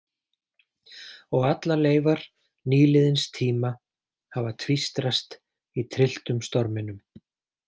Og allar leifar nýliðins tíma hafa tvístrast í trylltum storminum.